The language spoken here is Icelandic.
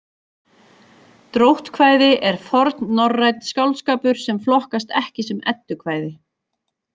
Dróttkvæði er fornnorrænn skáldskapur sem flokkast ekki sem eddukvæði.